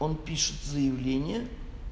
он пишет заявление